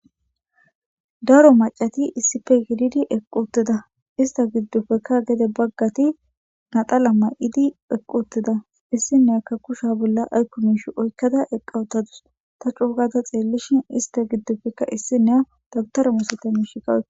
Daro macati issife gididi equ ttida ista giddofekka gede baggati nadala ma7idi eqqu uttida issineakka kusha bolla aykumiish oykkada eqawutadus ta cuugada xeellishin ista giddofekka issi nea dagutaramusota miishi kawoka.